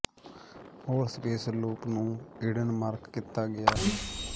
ਹੋਰ space loop ਨੂੰ ਿਕੜਨ ਮਾਰਕ ਕੀਤਾ ਗਿਆ ਹੈ